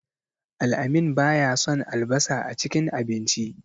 Al-amin baya son albasa a cikin abincinsa.